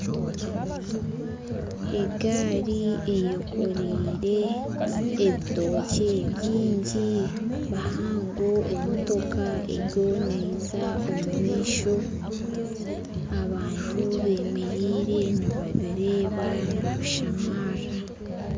Egaari eyekoreire ebitookye bingi bihango emotoka eriyo neija omu maisho abantu bemereire nibabireeba nibabishamarira